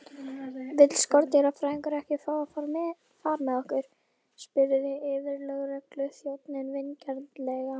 Vill skordýrafræðingurinn ekki fá far með okkur? spurði yfirlögregluþjónninn vingjarnlega.